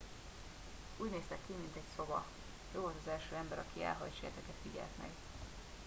úgy néztek ki mint egy szoba ő volt az első ember aki elhalt sejteket figyelt meg